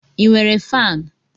ị nwere faanụ?